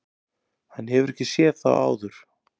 Hann hefur ekki séð þá áður.